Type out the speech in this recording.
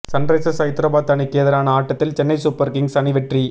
Sunrisers Hyderabad அணிக்கு எதிரான ஆட்டத்தில் சென்னை சூப்பர் கிங்ஸ் அணி வெற்றி